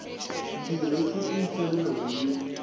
ḓiresi ntswa ya hu ne